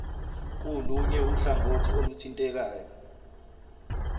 kulunye uhlangothi oluthintekayo